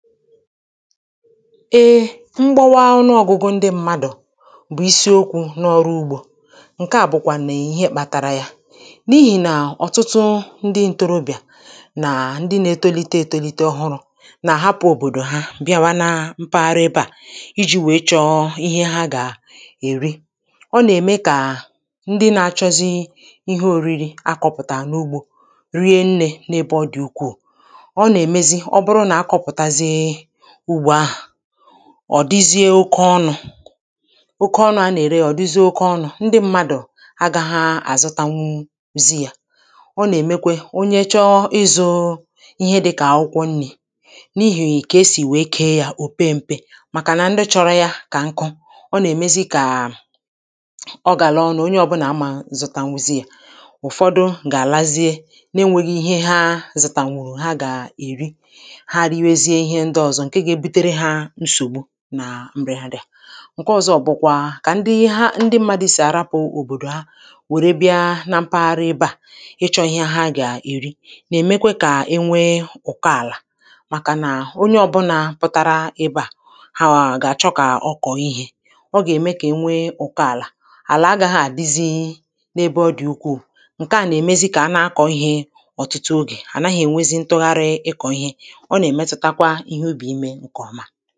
Ee mgbawa ọnụọgụgụ ndị mmadụ̀ bụ̀ isiokwū n’ọrụ ugbō ǹke à bụ̀kwà nè ihe kpatara ya n’ihì nà ọ̀tụtụ ndị ntorobìà nà ndị na-etolite etolite ọhụrụ̄ nà àhapụ̄ òbòdò ha bịawa na mpaghara ebe à ijī wee chọ ihe ha gà èri ọ nà-ème kà ndị na-achọzi ihe oriri akọ̄pụ̀tà n’ugbō riennē n’ebe ọ dị̀ ukwuù ọ nà-èmezi ọ bụrụ nà akọ̄pụ̀tazie ugbo ahà ọ̀ dịzie oke ọnụ̄ oke ọnụ̄ anà-ère yā ọ̀ dịzie oke ọnụ̄ ndị mmadụ̀ agāha àzụtanwuzi yā ọ nà-èmekwe onye chọ ịzụ̄ ihe dịkà akwụkwọ nnī n’ihì kà esì wee kee yā ò pe mpe màkà nà ndị chọrọ ya kànku o nà-èmezi kà ọ gàla ọnụ̄ onye ọbụnà amā zụtanwuzi yā ụ̀fọdụ gà-àlazie na enwēghị ihe ha zụ̀tànwùrù ha gà èri ha riwezie ihe ndị ọzọ ǹke ga-ebutere ha nsògbu nà m̀bị̀àdà ǹke ọ̀zọ bụkwa kà ndị ha ndị mmadị̄ sì àrapụ̄ òbòdò ha wère bịa na mpaghara ebe à ịchọ̄ ihe ha gà èri nà-èmekwe kà enwe ụ̀kọ àlà màkà nà o nye ọbụnā pụtara ebe à hào gà-àchọ kà ọ kọ̀ ihē ọ gà-ème kà enwe ụ̀kọ àlà àlà agāghị àdịzi n’ebe ọ dị̀ ukwuù ǹke à nà-èmezi kà ana-akọ̀ ihē ọ̀tụtụ ogè ànaghị̄ ènwezi ntụgharị ịkọ̀ ihe ọ nà-èmetụtakwa ihe ubì imē ǹkè ọma